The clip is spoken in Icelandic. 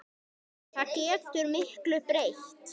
Það getur miklu breytt.